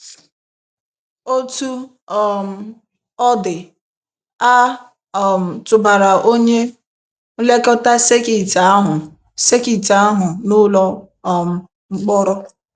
Otú um ọ dị, a um tụbara onye nlekọta sekit ahụ sekit ahụ n’ụlọ um mkpọrọ.